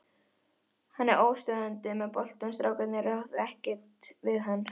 Hann er óstöðvandi með boltann, strákarnir ráða ekkert við hann.